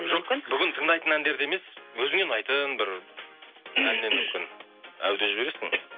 жоқ бүгін тыңдайтын әндерді емес өзіңе ұнайтын бір әу деп жібересің